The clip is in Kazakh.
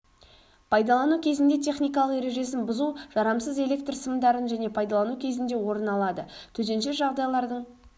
пайдалану кезінде техникалық ережесін бұзу жарамсыз электр сымдарын және пайдалану кезінде орын алады төтенше жағдайлардың